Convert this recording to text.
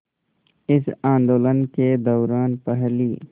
इस आंदोलन के दौरान पहली